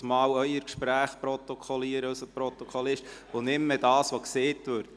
Sonst könnte der Protokollführer plötzlich Ihre Gespräche anstelle der Voten protokollieren.